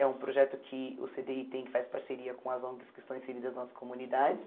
É um projeto que o cê dê i tem que faz parceria com as ONGs que estão inseridas nas comunidades.